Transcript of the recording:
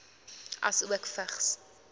asook vigs